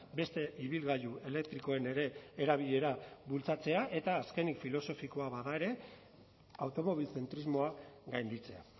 beste ibilgailu elektrikoen ere erabilera bultzatzea eta azkenik filosofikoa bada ere automobilzentrismoa gainditzea